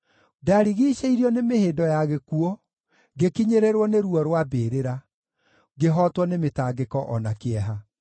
Ndarigiicĩirio nĩ mĩhĩndo ya gĩkuũ, ngĩkinyĩrĩrwo nĩ ruo rwa mbĩrĩra; ngĩhootwo nĩ mĩtangĩko o na kĩeha.